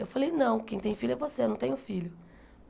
Eu falei, não, quem tem filho é você, eu não tenho filho.